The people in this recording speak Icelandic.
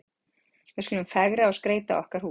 Við skulum fegra og skreyta okkar hús.